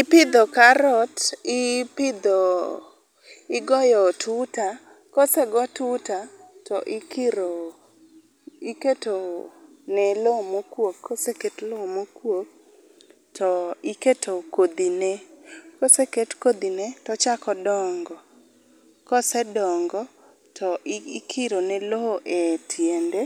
Ipidho karot, ipidho, igoyo tuta, kose go tuta to ikiro ,iketo ne loo mokuok koseket lne oo mokuok tiketo kodhine, koseket kodhine tochako dongo, kosedongo to ikiro ne loo e tiende